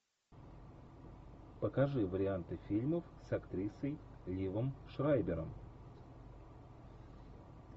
покажи варианты фильмов с актрисой ливом шрайбером